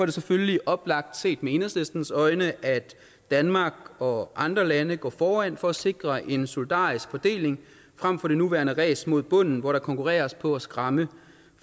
det selvfølgelig oplagt set med enhedslistens øjne at danmark og andre lande går foran for at sikre en solidarisk fordeling fremfor det nuværende race mod bunden hvor der konkurreres på at skræmme